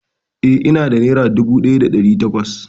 Eh, ina da nera dubu ɗaya da ɗari takwas